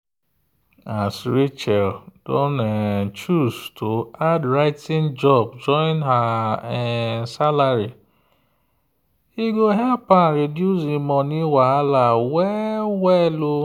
as rachel don choose to add writing job join her um salary e help am reduce en money wahala well-well.